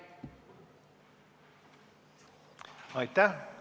Aitäh!